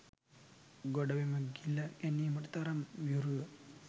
ගොඩබිම ගිල ගැනීමට තරම් වියරු ව